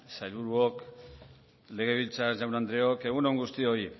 sailburuok legebiltzar jaun andreok egun on guztioi